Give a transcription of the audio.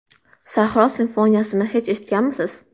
Sahro simfoniyasini hech eshitganmisiz?